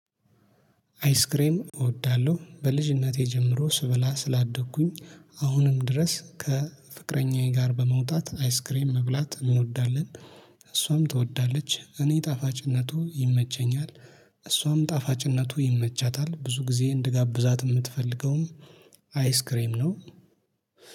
አይስክሬም እወዳለሁ በልጅነቴ ጀምሮ ስበላ ስላደግኩኝ። አሁንም ድረስ ከፍቅረኛዬ ጋር በመውጣት አይስክሬም መብላት እንወዳለን። እሷም ትወዳለች እኔ ጣፋጭነቱ ይመቸኛል። እሷም ጣፋጭነቱ ይመቻታል ብዙ ጊዜ እንድጋብዛት የምትፈልገውም አይስክሬም ነው